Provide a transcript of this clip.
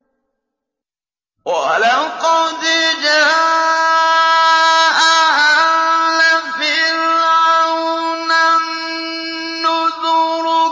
وَلَقَدْ جَاءَ آلَ فِرْعَوْنَ النُّذُرُ